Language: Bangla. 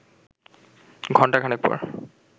ঘণ্টা খানেক পর